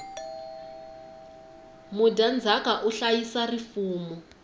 mudyandzaka u hlayisa rifumo